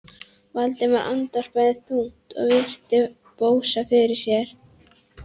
Valdimar andvarpaði þungt og virti Bóas fyrir sér.